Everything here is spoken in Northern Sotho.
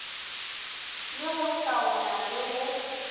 le go hlaola le go